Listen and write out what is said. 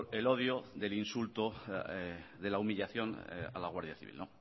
el odio del insulto de la humillación a la guardia civil